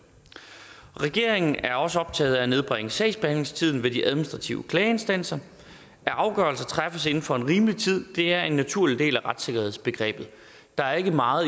regeringen er også optaget af at nedbringe sagsbehandlingstiden ved de administrative klageinstanser at afgørelser træffes inden for en rimelig tid er en naturlig del af retssikkerhedsbegrebet der er ikke meget